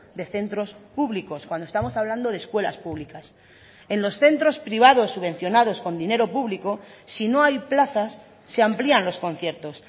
de centros públicos cuando estamos hablando de escuelas públicas en los centros privados subvencionados con dinero público si no hay plazas se amplían los conciertos